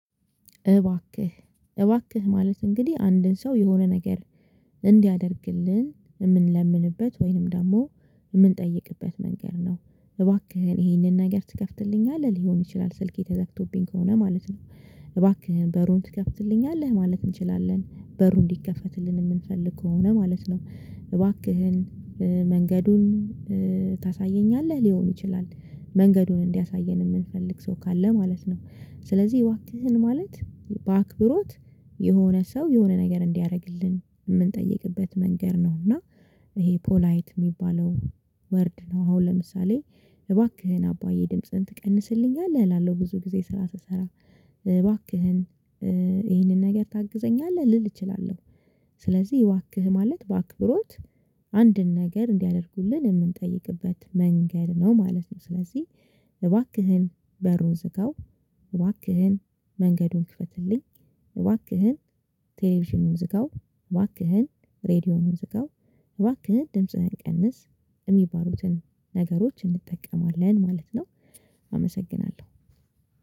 እባክህ ማለት እንግዲህ አንድን ሰው የሆነ ነገር እንዲያደርግልን የምንለምንበት ወይንም ደግሞ የምንጠይቅበት መንገድ ነው። እባክህ ግን ይሄንን ነገር ትከፍትልኛለህ ሊሆን ይችላል ስልኬ ተገብቶብኝ ከሆነ ማለት ነው። እባክህን በሩን ትከፍትልኛለህ ማለት እንችላለን በሩ እንዲከፈትልን የምንፈልግ ከሆነ ማለት ነው። እባክህን መንገዱን ታሳየኛለህ ሊሆን ይችላል መንገዱን እንዲያሳየን የምንፈልግ ሰው ካለ ማለት ነው። ስለዚህ እባክህን ማለት በአክብሮት የሆነ ሰው የሆነ ነገር እንዲያደርግልን የምንጠይቅበት መንገድ ነው። እና ይሄ ፖላይት የሚባለው ወርድ ነው። አሁን ለምሳሌ እባክህን አባዬ ድምጽን ትቀንስልኛለህ እላለሁ ብዙ ጊዜ ስራ ስሰራ እባክህን ይሄንን ነገር ታግዘኛለህ ልል እችላለሁ። ስለዚህ እባክህ ማለት በአክብሮት አንድን ነገር እንዲያደርጉልን የምንጠይቅበት መንገድ ነው ማለት ነው። ስለዚህ እባክህን በሩን ዝጋው። እባክህን መንገዱን ክፈትልኝ። እባክህን ቴሌቪዥኑን ዝጋው። እባክህን ሬዲዮኑን ዝጋው። እባክህን ድምጽህን ቀንስ የሚባሩትን ነገሮች እንጠቀማለን ማለት ነው። አመሰግናለሁ።